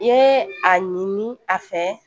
I ye a ɲini a fɛ